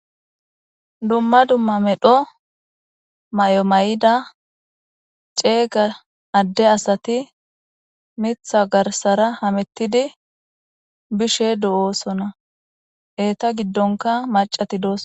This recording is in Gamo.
dumma dumma medho mayo mayida ceega adde asati mitha garsara hamettidi bishe do'oosona eeta giddonka macati dooso.